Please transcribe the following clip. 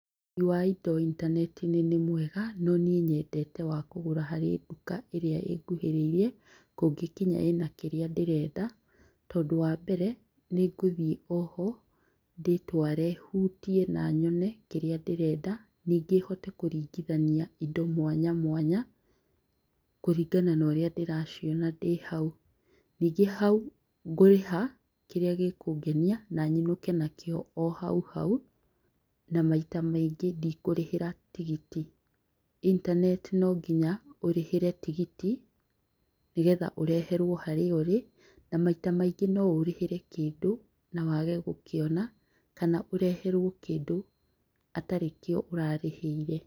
ũgũri wa indo intaneti-inĩ nĩ mwega no niĩ nyendete wa kũgũra harĩ nduka ĩrĩa ĩnguhĩrĩirie, kũngĩkinya ĩna kĩrĩa ndĩrenda tondũ wambere, nĩngũthiĩ oho, ndĩtware hutie na nyone kĩrĩa ndĩrenda, nyingĩ hote kũringithania indo mwanya mwanya kũringana na ũrĩa ndĩraciona ndĩhau. Nyingĩ hau ngũrĩha kĩrĩa gĩkũngenia na nyiũke nakĩo o hauhau na maita maingĩ ndikũrĩhĩra tigiti . Intaneti nonginya ũrĩhĩre tigiti nĩgetha ũreherwo harĩa ũrĩ na maita maingĩ no ũrĩhĩre kĩndũ na wage gũkĩona kana ũrehwo kĩndũ atarĩ kĩo ũrarĩhĩire.